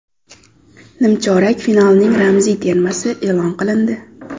Nimchorak finalning ramziy termasi e’lon qilindi.